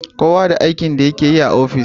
Kowa da aikin da yakeyi ofishi